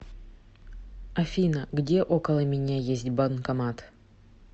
афина где около меня есть банкомат